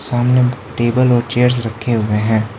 सामने टेबल और चेयर्स रखे हुए है।